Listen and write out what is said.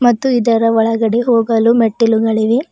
ಮತ್ತು ಇದರ ಒಳಗಡೆ ಹೋಗಲು ಮೆಟ್ಟಿಲುಗಳಿವೆ.